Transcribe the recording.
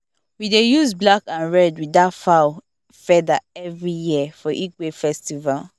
we dey use black and red with that fowl feather every year for igwe festival